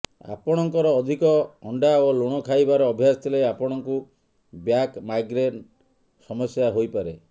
ଆପଣଙ୍କର ଅଧିକ ଅଣ୍ଡା ଓ ଲୁଣ ଖାଇବାର ଅଭ୍ୟାସ ଥିଲେ ଆପଣଙ୍କୁ ବ୍ୟାକ୍ ମାଇଗ୍ରେନ୍ ସମସ୍ୟା ହୋଇପାରେ